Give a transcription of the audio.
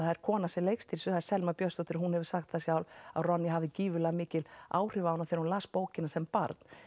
það er kona sem leikstýrir það er Selma Björnsdóttir og hún hefur sagt það sjálf að hafði gífurlega mikil áhrif á hana þegar hún las bókina sem barn